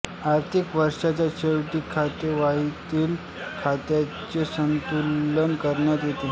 आर्थिक वर्षाच्या शेवटी खातेवाहीतील खात्यांचे संतुलन करण्यात येते